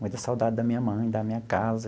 Muita saudade da minha mãe, da minha casa.